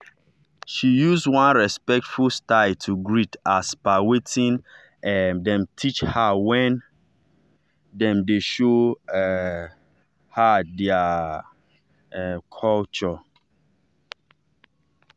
she use one respectful style to greet as per wetin um dem teach her when dem dey show um her their um culture.